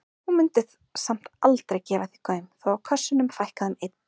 Hún mundi samt aldrei gefa því gaum þó að kössunum fækkaði um einn.